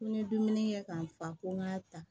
Ko n ye dumuni kɛ ka n fa ko n k'a ta